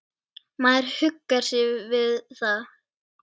Maður huggar sig við það.